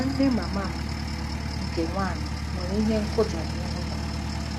Nwanne mama m nke nwanyị nwere ihe nkuja n'ihu ya.